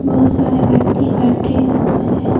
बहुत सारे व्यक्ति बैठे हुए हैं।